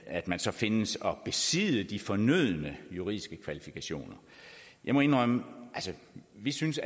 at man så findes at besidde de fornødne juridiske kvalifikationer jeg må indrømme at vi synes